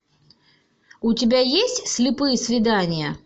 у тебя есть слепые свидания